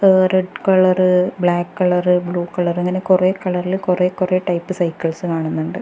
ഏ. . Red colour black colour blue colour അങ്ങനെ കുറെ കളറില് കൊറെ കൊറെ ടൈപ്പ് സൈക്കിൾസ് കാണുന്നുണ്ട്.